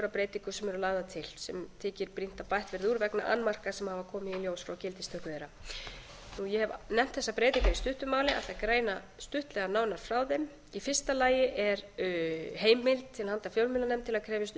að breytingum sem eru lagðar til sem þykir brýnt að bætt verði úr vegna annmarka sem hafa komið í ljós frá gildistöku þeirra ég hef nefnt þessar breytingar í stuttu máli en ætla að greina stuttlega nánar frá þeim í fyrsta lagi er heimild til handa fjölmiðlanefnd til að krefjast upplýsinga